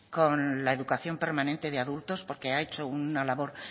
con la educación permanente de adultos porque ha hecho una labor